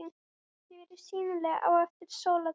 Þau eru sýnileg eftir sólarlag.